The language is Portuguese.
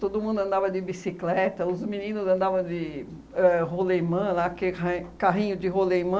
Todo mundo andava de bicicleta, os meninos andavam de ãh rolimã lá aquele ra carrinho de rolimã.